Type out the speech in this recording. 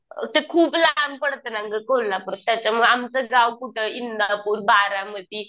ते खूप लांब पडतंय ना गं कोल्हापूर, त्याच्यामुळं आमचं गाव कुठं इंदापूर बारामती